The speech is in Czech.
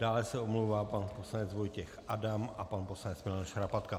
Dále se omlouvá pan poslanec Vojtěch Adam a pan poslanec Milan Šarapatka.